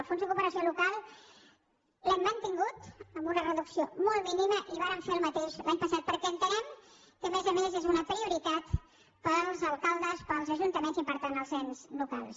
el fons de cooperació local l’hem mantingut amb una reducció molt mínima i vàrem fer el mateix l’any passat perquè entenem que a més a més és una prioritat per als alcaldes per als ajuntaments i per tant als ens locals